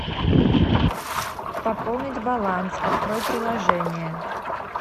пополнить баланс открой приложение